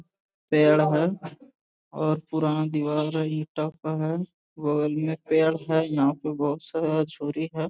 पेड़ है और पुराना दीवाल ईटा का है बगल में पेड़ है यहाँ पर बहुत सारा छुरी है ।